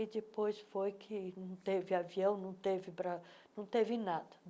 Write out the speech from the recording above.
E depois foi que não teve avião, não teve bra não teve nada.